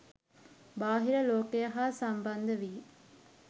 බාහිර ලෝකය හා සම්බන්ධ වී